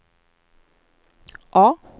A